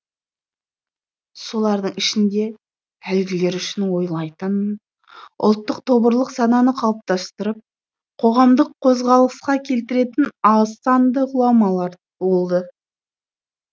солардың ішінде әлгілер үшін ойлайтын ұлттық тобырлық сананы қалыптастырып қоғамдық қозғалысқа келтіретін аз санды ғұламалар болды